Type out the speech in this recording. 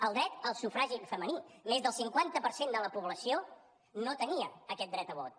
el dret al sufragi femení més del cinquanta per cent de la població no tenia aquest dret a vot